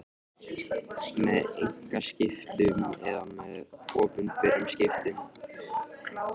með einkaskiptum eða með opinberum skiptum.